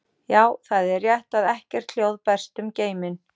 Já, það er rétt að ekkert hljóð berst um geiminn.